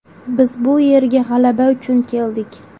Biz bu yerga g‘alaba uchun keldik”.